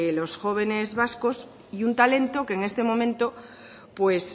los jóvenes vascos y un talento que este momento pues